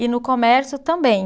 E no comércio também.